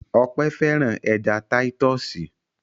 Ọpẹ́ fẹ́ràn ẹja títọ́sì.